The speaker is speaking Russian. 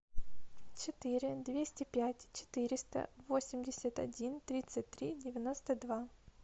четыре двести пять четыреста восемьдесят один тридцать три девяносто два